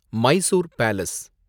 Mysore palace